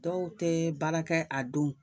Dɔw tɛ baara kɛ, a don.